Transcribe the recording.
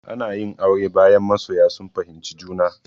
Ana yin aure, bayan masoya sun fahimci juna.